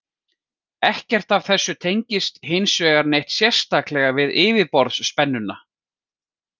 Ekkert af þessu tengist hins vegar neitt sérstaklega við yfirborðsspennuna.